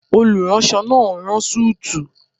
Olùránsọ náà n rán súùtù